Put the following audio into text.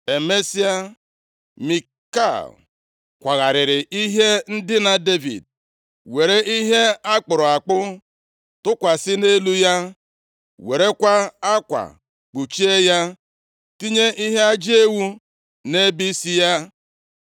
Emesịa, Mikal kwagharịrị ihe ndina Devid, were ihe a kpụrụ akpụ tụkwasị nʼelu ya, werekwa akwa kpuchie ya, tinye ihe ajị ewu nʼebe isi ya.